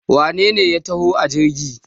wanene ya taho a jirgi?